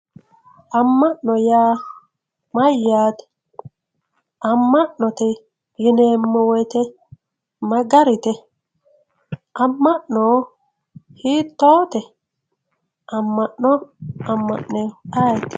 amma'no yaa mayyaate amma'note yineemmo woyite ma garite amma'no hiittoote amma'no amma'newohu ayeeti